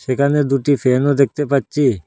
এখানে দুটি ফ্যানও দেখতে পাচ্চি ।